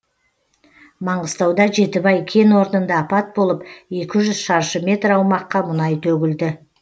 маңғыстауда жетібай кен орнында апат болып екі жүз шаршы метр аумаққа мұнай төгілді